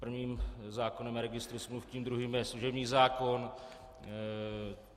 Prvním zákonem je registr smluv, tím druhým je služební zákon.